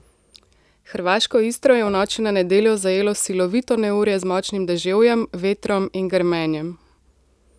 Hrvaško Istro je v noči na nedeljo zajelo silovito neurje z močnim deževjem, vetrom in grmenjem.